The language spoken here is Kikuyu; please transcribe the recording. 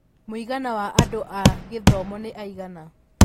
mũigana wa andũ a githumo nĩ aigana